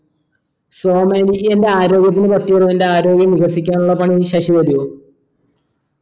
സോമാ എനിക്ക് എൻ്റെ ആരോഗ്യത്തിനെ പറ്റി ഒരു എൻ്റെ ആരോഗ്യം വികസിക്കാനുള്ള പണി ശശി പറയോ